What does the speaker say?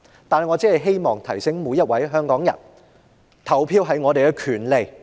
不過，我希望提醒每一位香港人，投票是我們的權利。